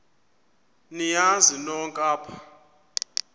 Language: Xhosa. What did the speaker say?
niyazi nonk apha